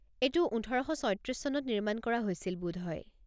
এইটো ওঠৰ শ ছয়ত্ৰিছ চনত নিৰ্মাণ কৰা হৈছিল বোধহয়।